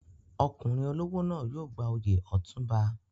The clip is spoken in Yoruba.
Ọkùnrin olówó náà yóò gba oyè Otunba.